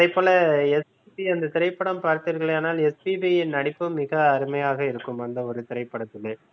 அதேபோல இந்தத் SPB திரைப்படம் பார்த்தீர்களானால் SPB யின் நடிப்பு மிக அருமையாக இருக்கும் அந்த ஒரு திரைப்படத்திலே